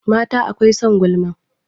Mata akwai son gulma